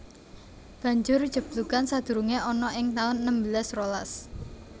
Banjur jeblugan sadurungé ana ing taun enem belas rolas